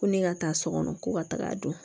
Ko ne ka taa so kɔnɔ ko ka taga dun